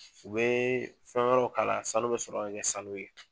U bɛ fɛn wɛrɛw k'a la sanu bɛ sɔrɔ ka kɛ sanu ye.